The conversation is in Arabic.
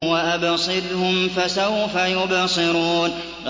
وَأَبْصِرْهُمْ فَسَوْفَ يُبْصِرُونَ